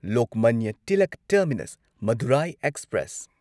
Lokmanya Tilak terminus Madurai express